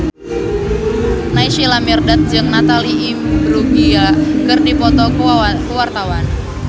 Naysila Mirdad jeung Natalie Imbruglia keur dipoto ku wartawan